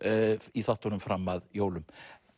í þáttunum fram að jólum